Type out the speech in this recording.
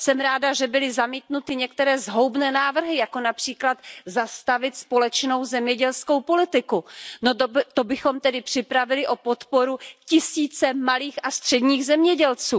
Jsem ráda, že byly zamítnuty některé zhoubné návrhy, jako například zastavit společnou zemědělskou politiku. No to bychom tedy připravili o podporu tisíce malých a středních zemědělců.